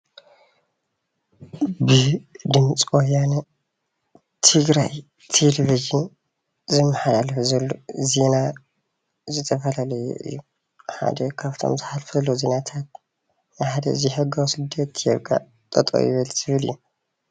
ብድምፂ ወያነ ትግራይ ቴለቪዥን ዝመሓላለፍ ዘሎ ዜና ዝተፈላለዩ እዩ፣ ሓደ ካብቶም ዝሓልፈሉ ዜናታት ሓደ ዘይሕጋዊ ስደት ጠጠው ይበል ዝብል እዩ፡፡